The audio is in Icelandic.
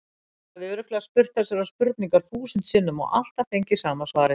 Ég hafði örugglega spurt þessarar spurningar þúsund sinnum og alltaf fengið sama svarið.